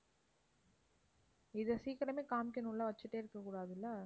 இதைச் சீக்கிரமே காமிக்கணும் இல்ல? வச்சுட்டே இருக்கக் கூடாதில்ல?